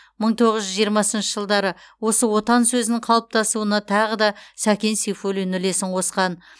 мың тоғыз жүз жиырмасыншы жылдары осы отан сөзінің қалыптасуына тағы да сәкен сейфуллин үлесін қосқан